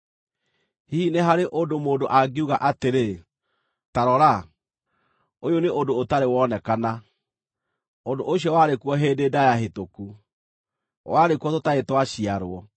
Hihi nĩ harĩ ũndũ mũndũ angiuga atĩrĩ: “Ta rora! Ũyũ nĩ ũndũ ũtarĩ wonekana”? Ũndũ ũcio warĩ kuo hĩndĩ ndaaya hĩtũku; warĩ kuo tũtarĩ twaciarwo.